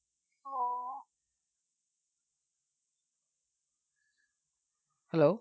hello